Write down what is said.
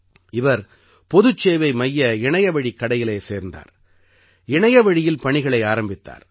இவர் பொதுச் சேவை மைய இணையவழிக் கடையிலே சேர்ந்தார் இணையவழியில் பணிகளை ஆரம்பித்தார்